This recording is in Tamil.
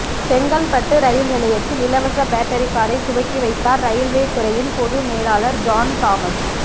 செங்கல்பட்டு ரயில் நிலையத்தில் இலவச பேட்டரி காரை துவக்கி வைத்தார் ரயில்வே துறையின் பொது மேலாளர் ஜான் தாமஸ்